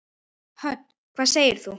Hödd: Hvað segir þú?